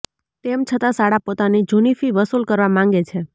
તેમ છતાં શાળા પોતાની જૂની ફી વસુલ કરવા માંગે છે